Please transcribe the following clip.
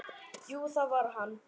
Jú, það var hann!